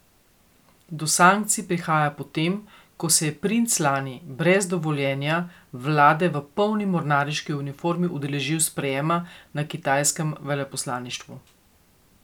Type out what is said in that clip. Do sankcij prihaja potem, ko se je princ lani brez dovoljenja vlade v polni mornariški uniformi udeležil sprejema na kitajskem veleposlaništvu.